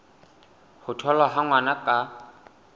ho tholwa ha ngwana ka